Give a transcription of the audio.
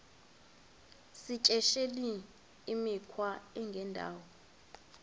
yityesheleni imikhwa engendawo